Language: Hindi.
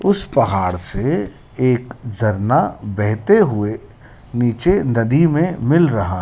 उस पहाड़ से एक झरना बहते हुए नीचे नदी मे मिल रहा--